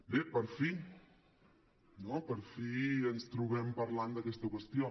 bé per fi no per fi ens trobem parlant d’aquesta qües·tió